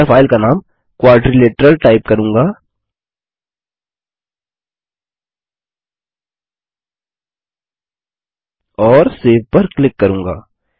मैं फाइल का नाम क्वाड्रिलेटरल टाइप करूँगा और सेव पर क्लिक करूँगा